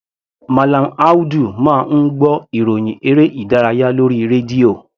Mallam Audu máa ń gbọ́ ìròhìn eré ìdárayá lórí rédíò.